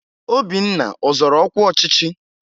Obinna ọzọrọ ọkwa ọchịchị?